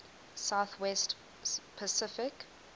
south west pacific